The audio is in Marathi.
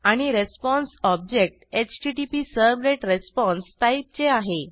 आणि रिस्पॉन्स ऑब्जेक्ट HttpServletResponseटाईपचे आहे